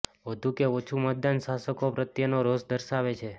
વધુ કે ઓછું મતદાન શાસકો પ્રત્યેનો રોષ દર્શાવે છે